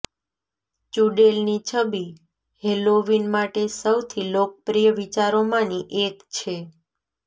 ચૂડેલની છબી હેલોવીન માટે સૌથી લોકપ્રિય વિચારોમાંની એક છે